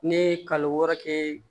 Ne ye kalo wɔɔrɔ kɛ